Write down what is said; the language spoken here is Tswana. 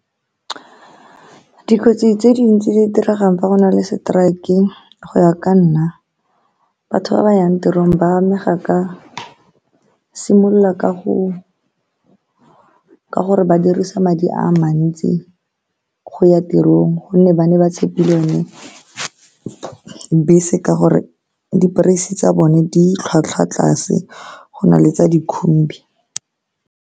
Dikotsi tse dintsi di diregang fa go na le strike, go ya ka nna, batho ba ba yang tirong ba amega ka simolola ka go ka gore ba dirisa madi a mantsi go ya tirong ka gonne ba ne ba tshepile yone bese, ka gore di-price-se tsa bone di tlhwatlhwa tlase go na le tsa dikhumbi.